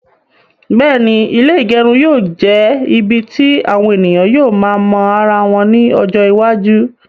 Bẹ́ẹ̀ni, ilé ígẹrun yóò jẹ ibì tí àwọn ènìyàn yóò máa mọ ara wọn ní ọjọ iwájú